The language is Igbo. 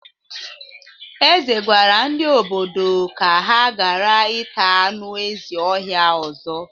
Eze gwara ndị ododo ka ha gara ita anụ ezi ọhia ọzọ.